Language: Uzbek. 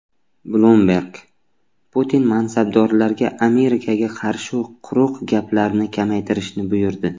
Bloomberg: Putin mansabdorlarga Amerikaga qarshi quruq gaplarni kamaytirishni buyurdi.